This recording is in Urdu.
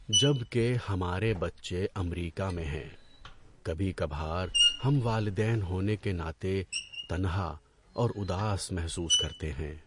جبکہ ہمارے بچے امریکہ میں ہیں، کبھی کبھار ہم والدین ہونے کے ناطے تنہا اور اداس محسوس کرتے ہیں۔